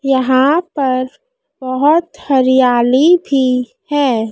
यहां पर बहोत हरियाली भी है।